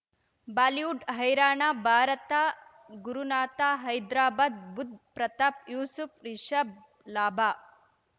Bollywood ಹೈರಾಣ ಭಾರತ ಗುರುನಾಥ ಹೈದ್ರಾಬಾದ್ ಬುಧ್ ಪ್ರತಾಪ್ ಯೂಸುಫ್ ರಿಷಬ್ ಲಾಭ